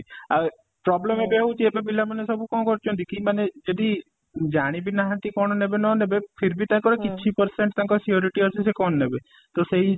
ଆଉ problem ହଉଛି ଏବେ ପିଲା ମାନେ ସବୁ କ'ଣ କରୁଛନ୍ତି କି ମାନେ ଯଦି ଜାଣି ବି ନାହାନ୍ତି କ'ଣ ନେବେ ନ ନେବେ ତାଙ୍କର fifty percent ତାଙ୍କର surety ଅଛି ସେ କ'ଣ ନେବେ ତ ସେଇ